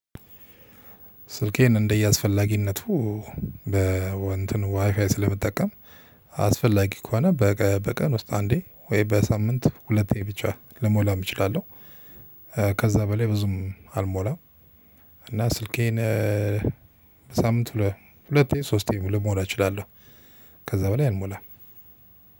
ስልኬን እንደየአስፈላጊነቱ በወንድም ዋይፋይ ስለምጠቀም አስፈላጊ ከሆነ በቀን ውስጥ አንዴ ወይ በሳምንት ሁለቴ ብቻ ልሞላም እችላለሁ። ከዛ በላይ ብዙም አልሞላም። እና ስልኬን ሳምንቱ ሁለቴ ሶስቴ ልሞላ እችላለሁ።